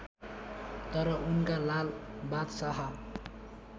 तर उनका लाल बादशाह